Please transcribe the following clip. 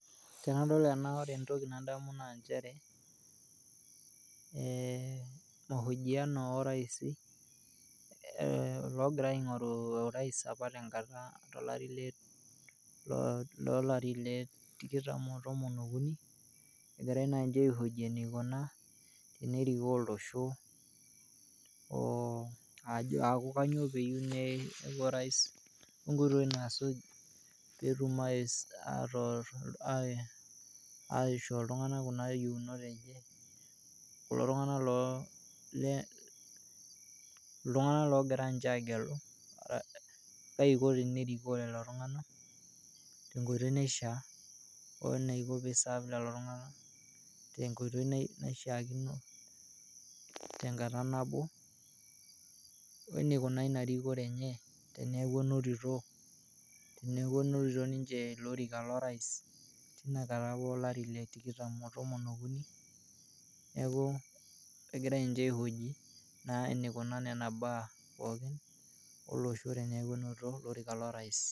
Tenadol ena naa ore entoki nadamu naa nchere ee mahojiano orais ee logira aingo'ru orais apa tenkata tolari le tikitam otomon okuni egira naa nche aihoji enikunaa enerikoo olosho.